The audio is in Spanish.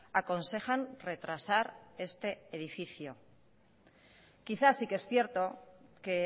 aconsejan retrasar este edificio quizá sí que es cierto que